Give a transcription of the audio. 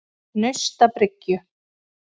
Naustabryggju